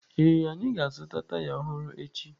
Ee, anyị ga-azụta taya ọhụrụ echi